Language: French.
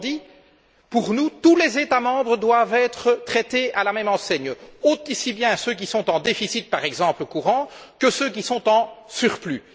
Autrement dit, pour nous, tous les États membres doivent être logés à la même enseigne, aussi bien ceux qui sont en déficit courant, par exemple, que ceux qui sont en surplus.